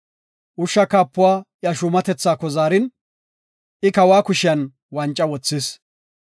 Ushsha kaapuwa iya shuumatethaako zaarin, I kawa kushiyan wanca wothis.